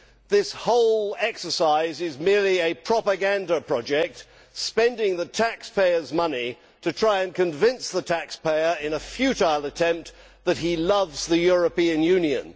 This whole exercise is merely a propaganda project, spending the taxpayers' money to try and convince the taxpayer in a futile attempt that he loves the European Union.